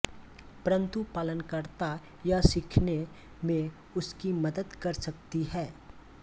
परन्तु पालनकर्ता यह सीखने में उसकी मदद कर सकती है